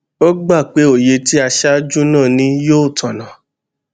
ó gbà pé òye tí aṣáájú náà ní yìí tònà